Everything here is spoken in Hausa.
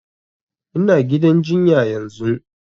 Ina gidan jinya yanzun